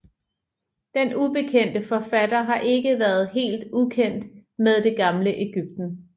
Den ubekendte forfatter har ikke været helt ukendt med det gamle Ægypten